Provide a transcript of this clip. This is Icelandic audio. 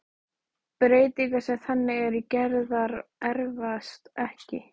Breytingar sem þannig eru gerðar erfast ekki.